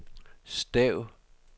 stav